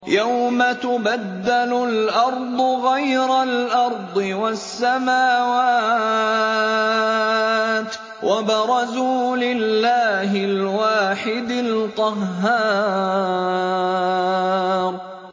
يَوْمَ تُبَدَّلُ الْأَرْضُ غَيْرَ الْأَرْضِ وَالسَّمَاوَاتُ ۖ وَبَرَزُوا لِلَّهِ الْوَاحِدِ الْقَهَّارِ